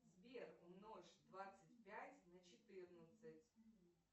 сбер умножь двадцать пять на четырнадцать